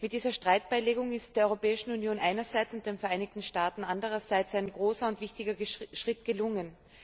Mit dieser Streitbeilegung ist der Europäischen Union einerseits und den Vereinigten Staaten andererseits ein großer und wichtiger Schritt gelungen.